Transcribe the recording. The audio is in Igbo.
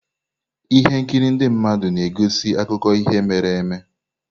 Ihe nkiri ndị mmadụ na-egosi akụkọ ihe mere eme.